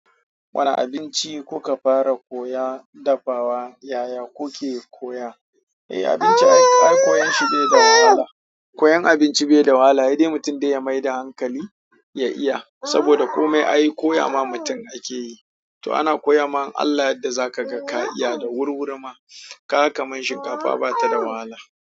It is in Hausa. Wane abinci kuka fara koya dafawa yaya kuke koya? Eh abinci ai koyon shi bai da wahala, koyan abinci bai da wahala saidai mutum ya maida hankali ya iya saboda komai ai koya ma mutum ake yi. Toh ana koyama in Allah ya yarda zakaga ka iya da wurwuri ma. Kaga kamar shinkafa bata da wahala.